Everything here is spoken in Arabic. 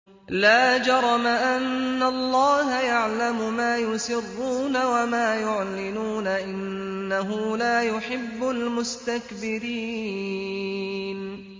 لَا جَرَمَ أَنَّ اللَّهَ يَعْلَمُ مَا يُسِرُّونَ وَمَا يُعْلِنُونَ ۚ إِنَّهُ لَا يُحِبُّ الْمُسْتَكْبِرِينَ